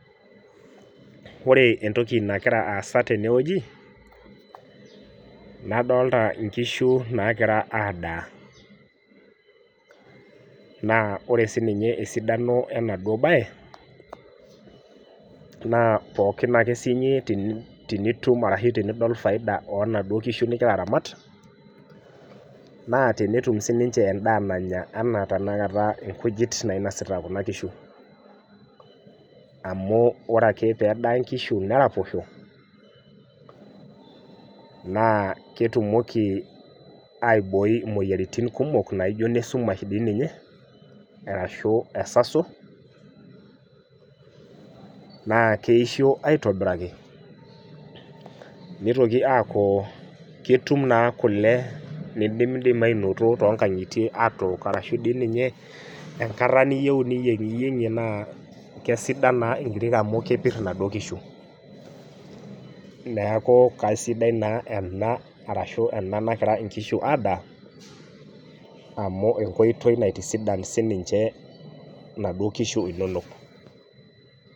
Wore entoki nakira aasa tene wueji, nadoolta inkishu naakira aadaa. Naa wore sininye esidano enaduo bae, naa pookin ake siyie tenitum arashu tenidol faida oonaduo kishu nikira aramat, naa tenetum sininche endaa nanya enaa tenakata inkujit nainosita kuna kishu. Amu wore ake pee edaa inkishu neraposho, naa ketumoki aibooi imoyiaritin kumok naijo inesumae dii ninye, arashu esaso, naa keisho aitobiraki, nitoki aaku ketum naa kule nidimidimi ainoto toonkangitie aatok arashu dii ninye enkata niyieu niyiengiyiengi naa kesidan naa inkirik amu kepir inaduo kishu. Neeku kesidai naa ena arashu ena nakira inkishu adaa, amu enkoitoi naitisidan sininche inaduo kishu inonok.